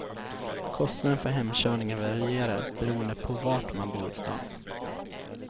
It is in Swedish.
Kostnaden för hemkörningen varierar beroende på var man bor i stan.